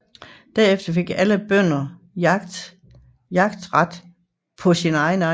Derefter fik alle bønder jagtret på sin egen ejendom